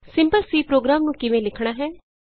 simple C program ਨੂੰ ਕਿਵੇਂ ਲਿਖਣਾ ਹੈ